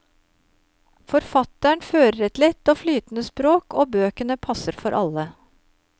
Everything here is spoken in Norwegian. Forfatteren fører et lett og flytende språk og bøkene passer for alle.